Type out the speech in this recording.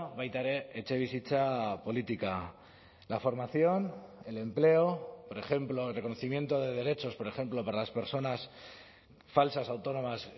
baita ere etxebizitza politika la formación el empleo por ejemplo el reconocimiento de derechos por ejemplo para las personas falsas autónomas